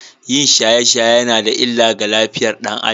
Yin shaye-shaye yana da illa ga lafiyar ɗan Adam.